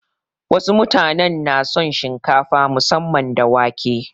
Wasu mutanen na son shinkafa musamman da wake.